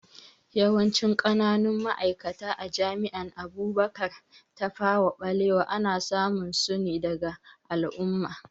Yawancin ƙananun ma'aikata a jami'an Abubakar Tafawa Balewa ana samun su daga al'umma